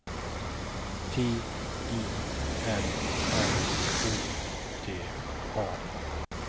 T I L L Å T A